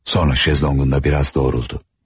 Sonra şezlonqunda biraz doğruldu.